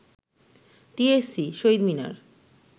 TSC, Shaheed Minar